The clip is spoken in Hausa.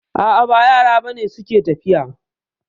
A'a ba yara ba ne suke tafiya